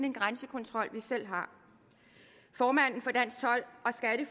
en grænsekontrol vi selv har formanden